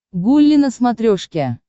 гулли на смотрешке